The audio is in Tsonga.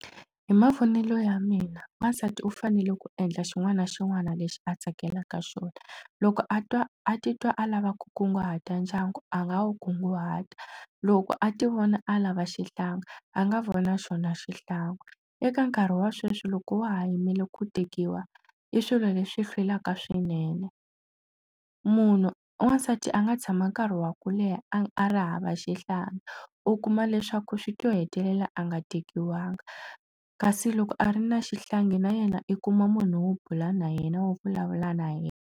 Hi mavonelo ya mina wansati u fanele ku endla xin'wana na xin'wana lexi a tsakelaka swona loko a twa a titwa a lava ku kunguhata ndyangu a nga wu kunguhata loko a ti vona a lava xihlangi a nga vona xona xihlangi eka nkarhi wa sweswi loko wa ha yimele ku tekiwa i swilo leswi hlwelaka swinene munhu wansati a nga tshama nkarhi wa ku leha a a ri hava xihlangi u kuma leswaku swi ta hetelela a nga tekiwanga kasi loko a ri na xihlangi na yena i kuma munhu wo bula na yena wo vulavula na yena.